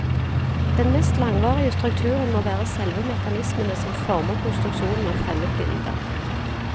Den mest langvarige strukturen må være selve mekanismene som former konstruksjonen av fremmedbilder.